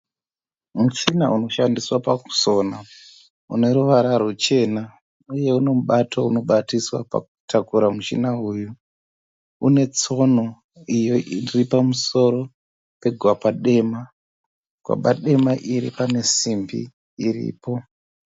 Muchina unoshandiswa pakusona uneruvara rwuchena uye unomubato unobatiswa pakutakura muchina uyu. Unetsono iyo iripamusoro pegwapa dema, gwaba dema iri panesimbi iripo.